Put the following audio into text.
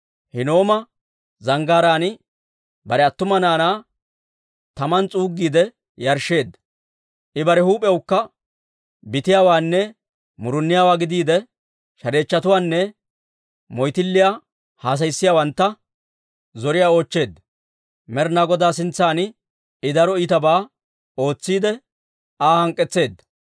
Hinnooma Zanggaaraan bare attuma naanaa taman s'uuggiide yarshsheedda. I bare huup'iyawukka bitiyaawaanne muruniyaawaa gidiide, shareechchotuwaanne moyttilliyaa haasayissiyaawantta zoriyaa oochcheedda. Med'inaa Godaa sintsan I daro iitabaa ootsiidde, Aa hank'k'etseedda.